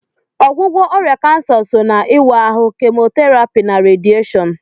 Ọgwụgwọ ọrịa kansa so n'ịwa ahụ, Kemotherapy, na radieshon.